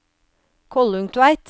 Kollungtveit